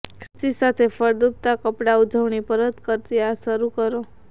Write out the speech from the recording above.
ખ્રિસ્તી સાથે ફળદ્રુપતા કપડાં ઉજવણી પરત ફર્યા શરૂ કરો